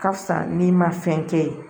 Ka fisa n'i ma fɛn kɛ ye